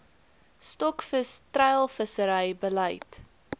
stokvis treilvissery beleid